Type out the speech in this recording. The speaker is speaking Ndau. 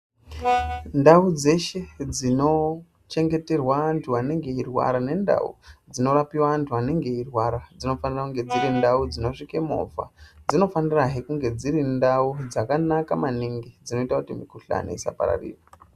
Ndau dzishe dzinochengeterwe anthu anenge eirwara nendau dzinorapiwe anthu anonge eirwara dzinofanire kunge dziri ndau dzinosvike movha dzinofanirahe kunge dziri ndau dzakanaka maningi dzinoita kuti mikhuhlani isapararira.